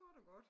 Kort og godt